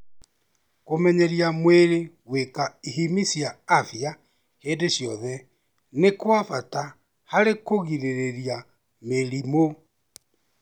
Kũmenyeria mwĩrĩ gwĩka ihimi cia afia hĩndĩ ciothe nĩ kwa bata harĩ kũgirĩrĩria mĩrimũ.